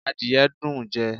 Àdìye dùn ún jẹ